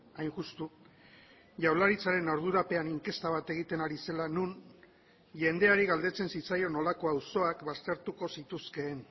hain justu jaurlaritzaren ardurapean inkesta bat egiten ari zela non jendeari galdetzen zitzaion nolako auzoak baztertuko zituzkeen